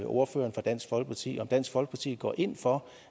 ordføreren for dansk folkeparti om dansk folkeparti går ind for